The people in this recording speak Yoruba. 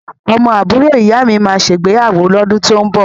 Ọmọ àbúrò ìyámi máa ṣègbéyàwó lọ́dún tó ń bọ̀.